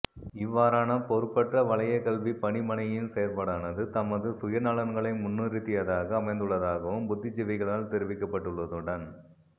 இவ்வாறான பொறுப்பற்ற வலயக்கல்விப்பணிமனையின் செயற்பாடானது தமது சுயநலன்களை முன்னிறுத்தியதாக அமைந்துள்ளதாகவும் புத்திஜீவிகளால் தெரிவிக்கப்பட்டுள்ளதுடன்